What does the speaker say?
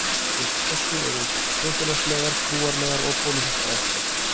Fyrir þessu eru þjóðfélagslegar, trúarlegar og pólitískar ástæður.